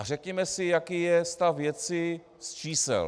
A řekněme si, jaký je stav věci z čísel.